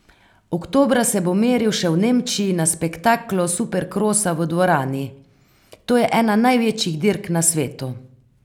Oktobra se bo meril še v Nemčiji na spektaklu superkrosa v dvorani: 'To je ena največjih dirk na svetu.